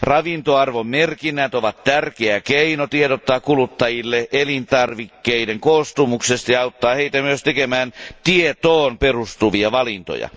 Ravintoarvomerkinnät ovat tärkeä keino tiedottaa kuluttajille elintarvikkeiden koostumuksesta ja auttaa heitä myös tekemään tietoon perustuvia valintoja.